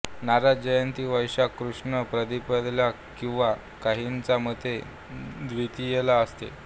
नारद जयंती वैशाख कृष्ण प्रतिपदेला किंवा काहींच्या मते द्वितीयेला असते